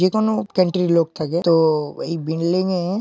যে কোন লোক থাকে তো-- এই বিন্ডলিংয়ে --